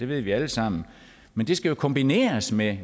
ved vi alle sammen men det skal jo kombineres med